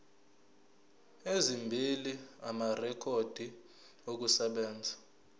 ezimbili amarekhodi okusebenza